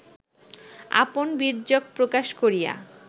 আপন বীর্যক প্রকাশ করিয়া